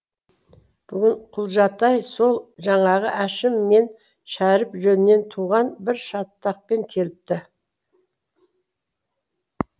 бүгін құлжатай сол жаңағы әшім мен шәріп жөнінен туған бір шатақпен келіпті